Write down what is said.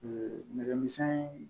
nɛgɛ misɛnnin